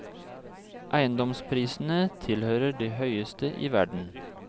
Eiendomsprisene tilhører de høyeste i verden.